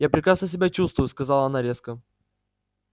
я прекрасно себя чувствую сказала она резко